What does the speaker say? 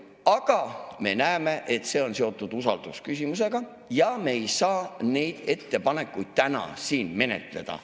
Aga me näeme, et see on seotud usaldusküsimusega ja me ei saa neid ettepanekuid täna siin menetleda.